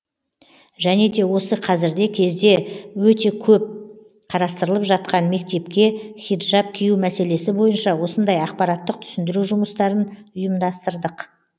және де осы қазіргі кезде өте көп қарастырылып жатқан мектепке хиджаб кию мәселесі бойынша осындай ақпараттық түсіндіру жұмыстарын ұйымдастырдық